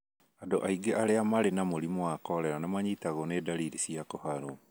Andũ aingĩ arĩa marĩ na mũrimũ wa korera nĩmanyitagwo nĩ dalili cia kũharwo.